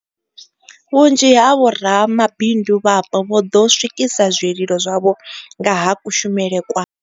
Vhunzhi ha vhoramabindu vhapo vho ḓo swikisa zwililo zwavho nga ha kushumele kwa.